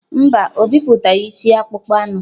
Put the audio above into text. Mba, o bipụtaghị isi akpụkpọ anụ.